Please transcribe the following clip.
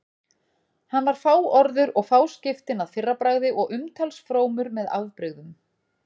Hann var fáorður og fáskiptinn að fyrrabragði og umtalsfrómur með afbrigðum.